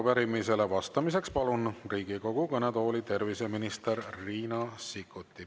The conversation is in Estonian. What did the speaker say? Arupärimisele vastamiseks palun Riigikogu kõnetooli terviseminister Riina Sikkuti.